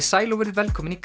sæl og verið velkomin í